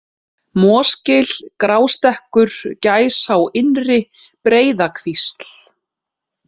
Mosgil, Grástekkur, Gæsá innri, Breiðakvísl